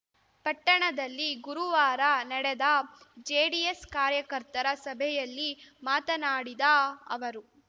ಪಟ್ಟಣದಲ್ಲಿ ಗುರುವಾರ ನಡೆದ ಜೆಡಿಎಸ್‌ ಕಾರ್ಯಕರ್ತರ ಸಭೆಯಲ್ಲಿ ಮಾತನಾಡಿದ ಅವರು